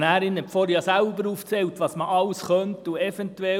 Die Motionärin hat zuvor selbst aufgezählt, was man alles tun könnte.